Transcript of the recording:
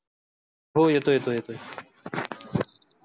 हो येतोय येतोय येतोय